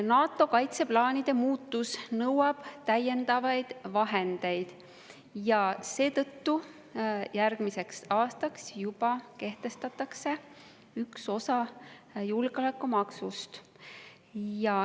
NATO kaitseplaanide muutus nõuab täiendavaid vahendeid ja seetõttu kehtestatakse juba järgmiseks aastaks üks osa julgeolekumaksust.